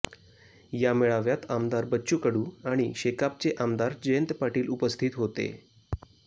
या मेळाव्यात आमदार बच्चू कडू आणी शेकापचे आमदार जयंत पाटील उपस्थित होते